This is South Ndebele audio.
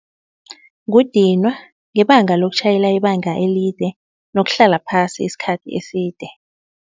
Kudinwa ngebanga lokutjhayela ibanga elide nokuhlala phasi isikhathi eside.